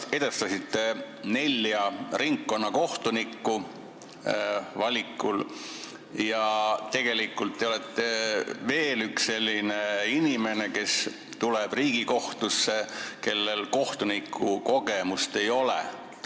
Te edestasite valimisel nelja ringkonnakohtunikku ja olete tegelikult veel üks selline inimene, kes läheb Riigikohtusse ilma kohtunikukogemuseta.